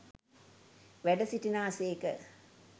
වැඩ සිටිනා සේක.